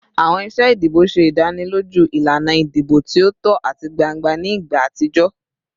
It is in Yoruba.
Awọn iṣe idibo ṣe idaniloju ilana idibo ti o tọ ati gbangba ni igba atijọ